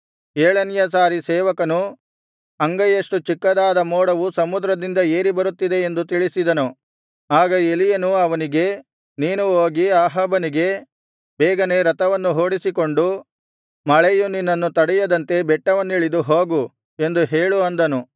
ಏಳನೆಯ ಸಾರಿ ಸೇವಕನು ಅಂಗೈಯಷ್ಟು ಚಿಕ್ಕದಾದ ಮೋಡವು ಸಮುದ್ರದಿಂದ ಏರಿ ಬರುತ್ತಿದೆ ಎಂದು ತಿಳಿಸಿದನು ಆಗ ಎಲೀಯನು ಅವನಿಗೆ ನೀನು ಹೋಗಿ ಅಹಾಬನಿಗೆ ಬೇಗನೆ ರಥವನ್ನು ಹೂಡಿಸಿಕೊಂಡು ಮಳೆಯು ನಿನ್ನನ್ನು ತಡೆಯದಂತೆ ಬೆಟ್ಟವನ್ನಿಳಿದು ಹೋಗು ಎಂದು ಹೇಳು ಅಂದನು